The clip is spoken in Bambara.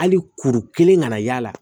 Hali kuru kelen ka na y'a la